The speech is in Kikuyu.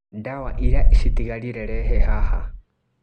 Ndawa iria ciratigarire rehe haha.